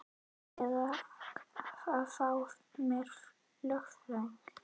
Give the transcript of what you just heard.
Já eða að fá mér lögfræðing.